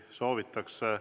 Soovitakse.